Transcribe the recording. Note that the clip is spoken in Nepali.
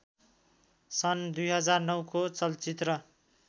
सन् २००९ को चलचित्र